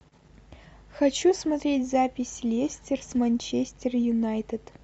хочу смотреть запись лестер с манчестер юнайтед